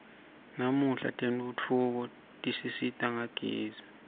namuhla tentfutfuko tisisita ngagezi